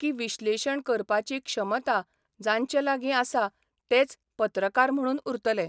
की विश्लेशण करपाची क्षमता 'जांचे लागीं आसा तेच पत्रकार म्हणून उरतले.